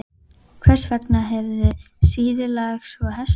Hvers vegna hefurðu söðlað tvo hesta?